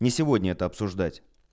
не сегодня это обсуждать